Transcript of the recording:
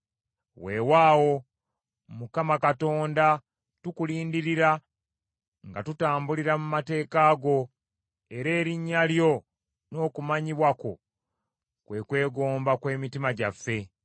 Weewaawo Mukama Katonda tukulindirira nga tutambulira mu mateeka go, era erinnya lyo n’okumanyibwa kwo kwe kwegomba kw’emitima gyaffe.